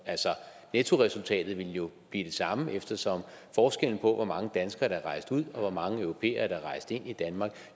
altså nettoresultatet ville jo blive det samme eftersom forskellen på hvor mange danskere der er rejst ud og hvor mange europæere der er rejst ind i danmark